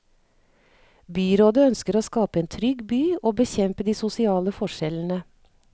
Byrådet ønsker å skape en trygg by og bekjempe de sosiale forskjellene.